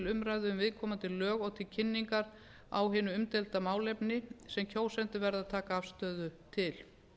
umræðu um viðkomandi lög og til kynningar á hinu umdeilda málefni sem kjósendur verða að taka afstöðu til